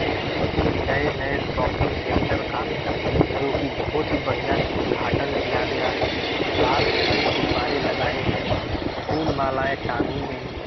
यह किसी नए-नए शॉपिंग सेंटर का जो की बहुत ही बड़िया से उद्घाटन किया गया है लाल सफेद गुबारे लगाये गए हैं फूल मालायें टंगी गई है।